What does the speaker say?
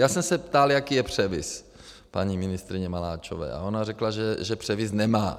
Já jsem se ptal, jaký je převis, paní ministryně Maláčové a ona řekla, že převis nemá.